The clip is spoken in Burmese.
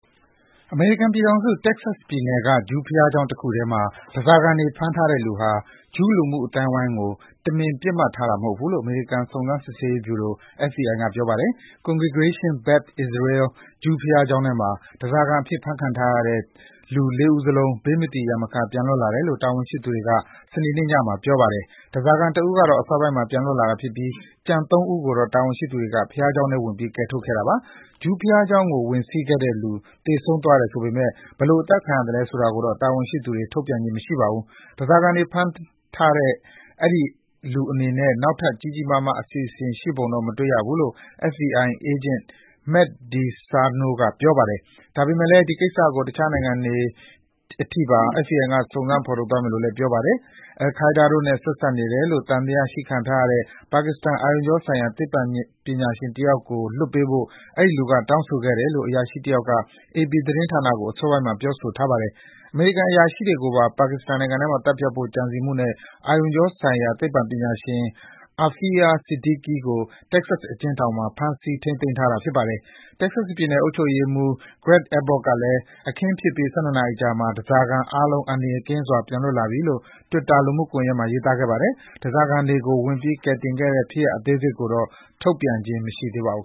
အမေရိကန်ပြည်ထောင်စု၊ Texas ပြည်နယ်က ဂျူးဘုရားကျောင်းတခုထဲမှာ ဓားစာခံတွေ ဖမ်းထားတဲ့လူဟာ ဂျူးလူမှုအသိုင်းအဝိုင်းကို တမင် ပစ်မှတ်ထားတာ မဟုတ်ဘူးလို့ အမေရိကန် စုံစမ်းစစ်ဆေးရေးဗျူရို (FBI) က ပြောပါတယ်။ Congregation Beth Israel ဂျူးဘုရားကျောင်းထဲမှာ ဓားစာခံအဖြစ် ဖမ်းခံထားရတဲ့ လူ ၄ ဦးစလုံး ဘေးမသီရန်မခ ပြန်လွတ်လာတယ်လို့ တာဝန်ရှိသူတွေက စနေနေ့ညမှာ ပြောပါတယ်။ ဓားစာခံတဦးကတော့ အစောပိုင်းမှာ ပြန်လွတ်လာတာဖြစ်ပြီး ကျန် ၃ ဦးကိုတော့ တာဝန်ရှိသူတွေ ဘုရားကျောင်းထဲဝင်ပြီး ကယ်ထုတ်ခဲ့တာပါ။ ဂျူးဘုရားကျောင်းကို ဝင်စီးခဲ့တဲ့လူ သေဆုံးသွားတယ် ဆိုပေမယ့် ဘယ်လိုအသတ်ခံရတာလဲ ဆိုတာကိုတော့ တာဝန်ရှိသူတွေ ထုတ်ပြန်ခြင်း မရှိပါဘူး။ ဓားစားခံတွေ ဖမ်းထားခဲ့တဲ့ အဲဒီလူအနေနဲ့ နောက်ထပ် ကြီးကြီးမားမား အစီအစဉ်တွေ ရှိပုံတော့ မရဘူးလို့ FBI အေးဂျင့် Matt DeSarno က ပြောပါတယ်။ ဒါပေမယ့်လည်း ဒီကိစ္စကို အခြားနိုင်ငံတွေထိပါ FBI က စုံစမ်းဖော်ထုတ်သွားမယ်လို့လည်း ပြောပါတယ်။ အယ်လ်ခိုင်းဒါးတို့နဲ့ ဆက်စပ်နေတယ်လို့ သံသယရှိခံထားရတဲ့ ပါကစ္စတန် အာရုံကြောဆိုင်ရာ သိပ္ပံပညာရှင်တယောက်ကို လွှတ်ပေးဖို့ အဲဒီလူက တောင်းဆိုခဲ့တယ်လို့ အရာရှိတယောက်က AP သတင်းဌာနကို အစောပိုင်းမှာ ပြောဆိုထားပါတယ်။ အမေရိကန် အရာရှိတွေကို ပါကစ္စတန်နိုင်ငံထဲမှာ သတ်ဖြတ်ဖို့ ကြံစည်မှုနဲ့ အာရုံကြောဆိုင်ရာ သိပ္ပံပညာရှင် Aafia Siddiqui ကို Texas အကျဉ်းထောင်မှာ ထိန်းသိမ်းထားတာ ဖြစ်ပါတယ်။ Texas ပြည်နယ်အုပ်ချုပ်ရေးမှူး Greg Abbott ကလည်း အခင်းဖြစ်ပြီး ၁၂ နာရီအကြာမှာ ဓားစာခံအားလုံး အန္တရာယ်ကင်းစွာ ပြန်လွတ်လာပြီလို့ တွစ်တာ လူမှုစာမျက်နှာမှာ ရေးသားခဲ့ပါတယ်။ ဓားစားခံတွေကို ဝင်ပြီး ကယ်တင်ခဲ့တဲ့ ဖြစ်ရပ်အသေးစိတ်ကိုတော့ ချက်ချင်း ထုတ်ပြန်တာမျိုး မရှိသေးပါဘူး